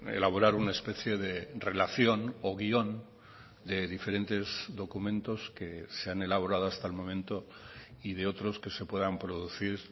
elaborar una especie de relación o guion de diferentes documentos que se han elaborado hasta el momento y de otros que se puedan producir